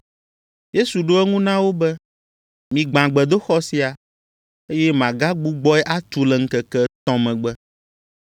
Yesu ɖo eŋu na wo be, “Migbã gbedoxɔ sia, eye magagbugbɔe atu le ŋkeke etɔ̃ megbe.”